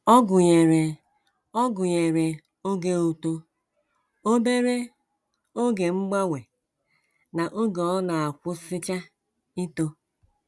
Ọ gụnyere Ọ gụnyere oge uto, obere oge mgbanwe, na oge ọ na - akwụsịcha ito.